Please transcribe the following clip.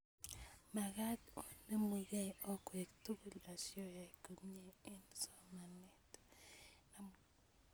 Makat onemukei akwek tukul asioyai komnye eng' somanet